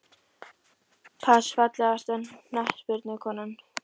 pass Fallegasta knattspyrnukonan?